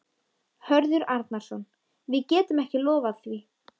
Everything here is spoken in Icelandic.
Hörður Arnarson: Við getum ekki lofað því?